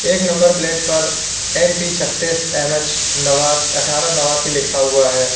एक number plate पर M P छत्तीस एम_एच नवास अट्ठारह नवासी लिखा हुआ है।